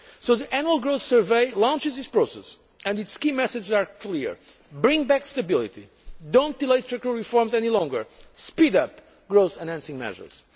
The Annual Growth Survey launches this process and its key messages are clear bring back stability, do not delay structural reforms any longer, and speed up growth enhancing measures.